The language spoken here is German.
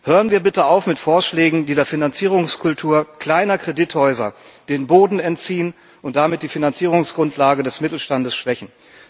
Hören wir bitte auf mit Vorschlägen, die der Finanzierungskultur kleiner Kredithäuser den Boden entziehen und damit die Finanzierungsgrundlage des Mittelstandes schwächen.